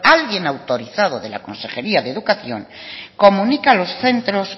alguien autorizado de la consejería de educación comunica a los centros